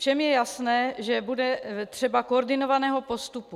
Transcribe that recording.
Všem je jasné, že bude třeba koordinovaného postupu.